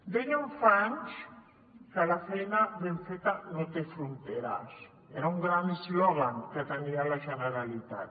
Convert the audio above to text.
deien fa anys que la feina ben feta no té fronteres era un gran eslògan que tenia la generalitat